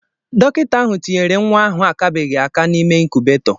Dọkịta ahụ tinyere nwa ahụ akabeghị aka n'ime incubator.